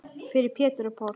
Fyrir Pétur og Pál.